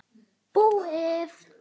Búið!